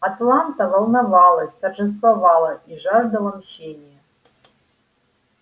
атланта волновалась торжествовала и жаждала мщения